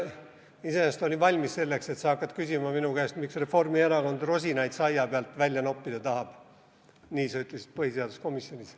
Ma iseenesest olin valmis selleks, et sa hakkad küsima minu käest, miks Reformierakond rosinaid saia seest välja noppida tahab – nii sa ütlesid põhiseaduskomisjonis.